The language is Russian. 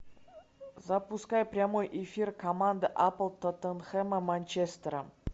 запускай прямой эфир команд апл тоттенхэма манчестера